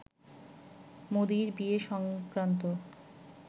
মোদির বিয়ে সংক্রান্ত